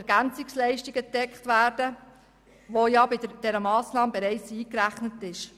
Lücken können von den EL gedeckt werden, was bei dieser Massnahme bereits eingerechnet ist.